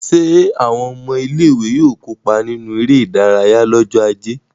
Ṣé àwọn ọmọ ilé-ìwé yóò kópa nínú eré-idárayá lọ́jọ́ ajé?